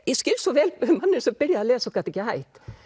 ég skil svo vel manninn sem byrjaði að lesa og gat ekki hætt